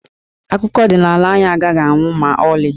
Akụkọ ọdịnaala anyị agaghị anwụ ma ọlị.